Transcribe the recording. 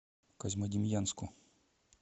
козьмодемьянску